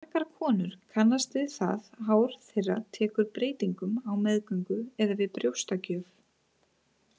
Margar konur kannast við það hár þeirra tekur breytingum á meðgöngu eða við brjóstagjöf.